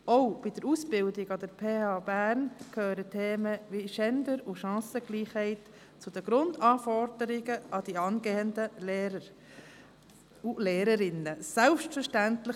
Auch bei der Ausbildung an der PH Bern gehören Themen wie Gender und Chancengleichzeit zu den Grundanforderungen an die angehenden Lehrer und Lehrerinnen selbstverständlich.